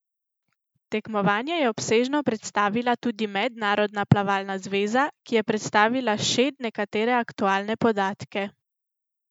Tekmovanje je obsežno predstavila tudi Mednarodna plavalna zveza, ki je predstavila šed nekatere aktualne podatke.